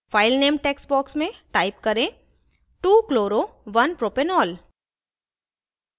file name text box में type करें 2chloro1propanol